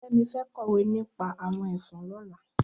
Femi fẹ̀ kọwé nipà awọn ẹfọn lọ̀lá